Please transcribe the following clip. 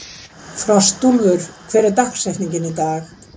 Frostúlfur, hver er dagsetningin í dag?